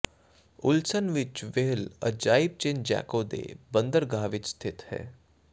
ਉਲਸਨ ਵਿੱਚ ਵ੍ਹੇਲ ਅਜਾਇਬ ਚੇਂਨਜੈਂਕੋ ਦੇ ਬੰਦਰਗਾਹ ਵਿੱਚ ਸਥਿਤ ਹੈ